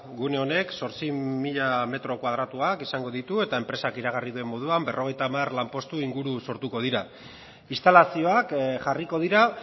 gune honek zortzi mila metro karratua izango ditu eta enpresak iragarri duen moduan berrogeita hamar lanpostu inguru sortuko dira instalazioak jarriko dira